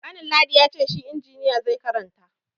Kanin ladi ya ce shi injiniya zai karanta.